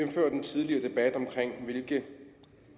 tidligere debat om hvilke